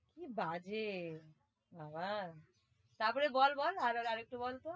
কি বাজে বাবা তারপরে বল বল আর একটু